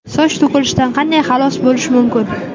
Soch to‘kilishidan qanday xalos bo‘lish mumkin?